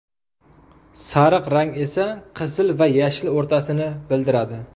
Sariq rang esa qizil va yashil o‘rtasini bildiradi.